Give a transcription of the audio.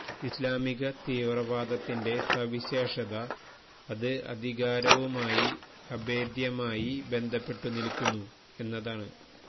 ഇസ്ലാമിക തീവ്രവാദത്തിന്റെ സവിശേഷത അത് അധികാരവുമായി അഭേദ്യമായി ബന്ധപ്പെട്ടു നില്ക്കുന്നു എന്നതാണ്